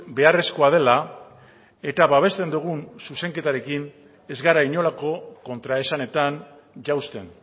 beharrezkoa dela eta babesten dugun zuzenketarekin ez gara inolako kontraesanetan jausten